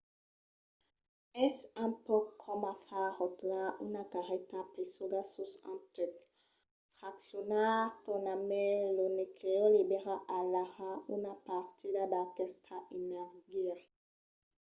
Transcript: es un pauc coma far rotlar una carreta pesuga sus un tuc. fraccionar tornarmai lo nuclèu libèra alara una partida d'aquesta energia